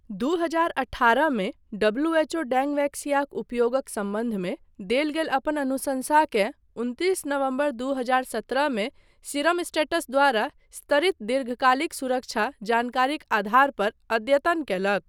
दू हजार अठारहमे डब्ल्यूएचओ डेंगवैक्सियाक उपयोगक सम्बन्धमे देल गेल अपन अनुशंसाकेँ उनतिस नवम्बर दू हजार सत्रहमे सीरमस्टैटस द्वारा स्तरित दीर्घकालिक सुरक्षा जानकारीक आधार पर अद्यतन कयलक।